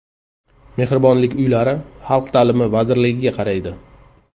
Mehribonlik uylari Xalq ta’limi vazirligiga qaraydi.